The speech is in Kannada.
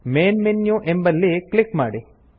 ಮೈನ್ ಮೆನು ಎಂಬಲ್ಲಿ ಕ್ಲಿಕ್ ಮಾಡಿ